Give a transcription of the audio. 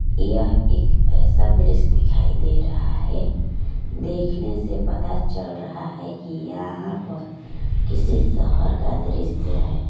यह एक ऐसा दृश्य दिखाई दे रहा है देखने से पता चल रहा है कि यहाँ पर किसी शहर का दृश्य है।